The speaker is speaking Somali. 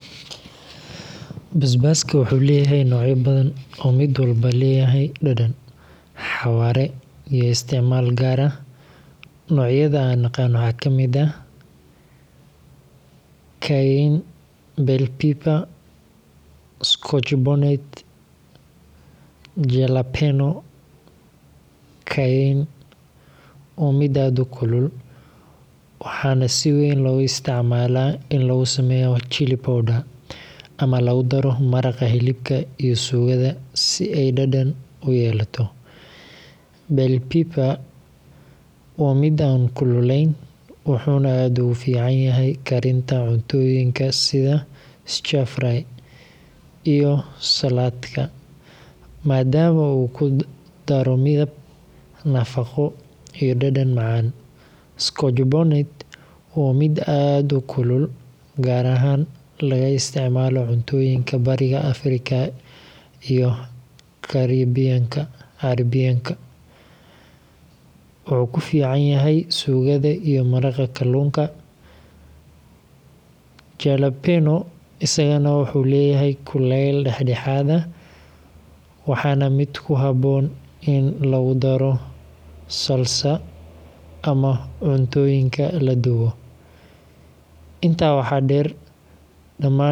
Basbaaska wuxuu leeyahay noocyo badan oo mid walba leeyahay dhadhan, xawaare, iyo isticmaal gaar ah. Noocyada aan aqaan waxaa ka mid ah Cayenne, Bell pepper, Scotch bonnet, iyo Jalapeño. Cayenne waa mid aad u kulul, waxaana si weyn loogu isticmaalaa in lagu sameeyo chili powder ama lagu daro maraqa hilibka iyo suugada si ay dhadhan u yeelato. Bell pepper waa mid aan kululayn, wuxuuna aad ugu fiican yahay karinta cuntooyinka sida stir fry iyo saladhka, maadaama uu ku daro midab, nafaqo, iyo dhadhan macaan. Scotch bonnet waa mid aad u kulul, gaar ahaan laga isticmaalo cuntooyinka bariga Afrika iyo Caribbean-ka – wuxuu ku fiican yahay suugada iyo maraqa kalluunka. Jalapeño isagana wuxuu leeyahay kulayn dhexdhexaad ah, waana mid ku habboon in lagu daro salsa ama cuntooyinka la dubo. Intaa waxaa dheer, dhammaan noocyadan.